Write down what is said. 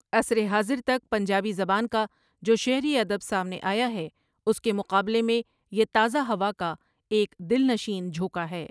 عصرِ حاضر تک پنجابی زبان کا جو شعری ادب سامنے آیا ہے اس کے مقابلے میں یہ تازہ ہوا کا ایک دلنشین جھونکا ہے ۔